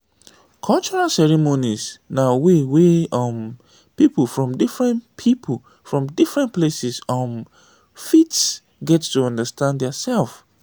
cultural ceremonies na way wey um pipo from different pipo from different places um fit get to understand their self